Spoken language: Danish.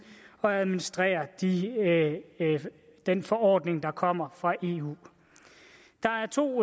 at administrere den forordning der kommer fra eu der er to